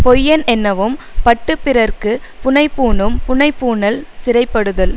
பொய்யனென்னவும் பட்டுப் பிறர்க்கு புனைபூணும் புனைபூணல் சிறைபடுதல்